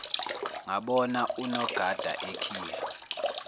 ngabona unogada ekhiya